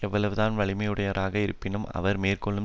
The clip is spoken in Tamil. எவ்வளவுதான் வலிமையுடையவராக இருப்பினும் அவர் மேற்கொள்ளும்